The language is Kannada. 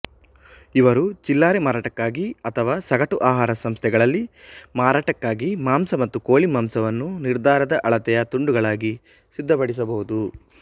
ಇವರು ಚಿಲ್ಲರೆ ಮಾರಾಟಕ್ಕಾಗಿ ಅಥವಾ ಸಗಟು ಆಹಾರ ಸಂಸ್ಥೆಗಳಲ್ಲಿ ಮಾರಾಟಕ್ಕಾಗಿ ಮಾಂಸ ಮತ್ತು ಕೋಳಿಮಾಂಸವನ್ನು ನಿರ್ಧಾರದ ಅಳತೆಯ ತುಂಡುಗಳಾಗಿ ಸಿದ್ಧಪಡಿಸಬಹುದು